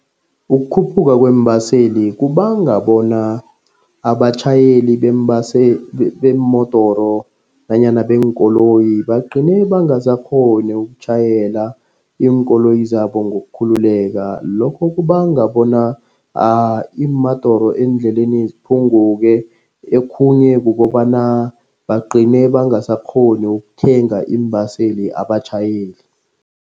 Ukukhuphuka kweembaseli kubanga bona abatjhayeli beemodoro nanyana beenkoloyi. Bagcine bangasakghoni ukutjhayela iinkoloyi zabo ngokukhululeka. Lokho kubanga bona iimodoro endleleni ziphunguke. Okhunye kukobana bagcine bangasakghoni ukuthenga iimbaseli abatjhayeli.